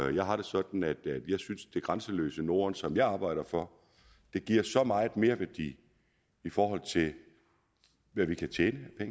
jeg har det sådan at jeg synes det grænseløse norden som jeg arbejder for giver meget merværdi i forhold til hvad vi kan tjene af